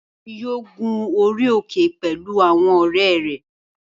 Nìyí yóò gun orí òkè pẹ̀lú àwọn ọ̀rẹ́ rẹ̀